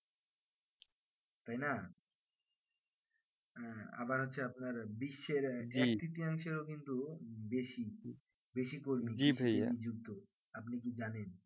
তাইনা হ্যাঁ আবার হচ্ছে আপনার বিশ্বের attenditial কিন্তু বেশি বেশি কর্মী যুক্ত আপনি কি জানেন